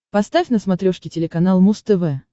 поставь на смотрешке телеканал муз тв